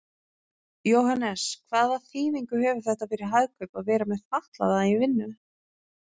Jóhannes: Hvaða þýðingu hefur þetta fyrir Hagkaup að vera með fatlaða í vinnu?